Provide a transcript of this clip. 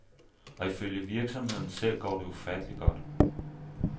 Og ifølge virksomheden selv går det ufatteligt godt.